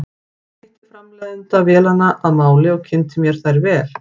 Ég hitti framleiðanda vélanna að máli og kynnti mér þær vel.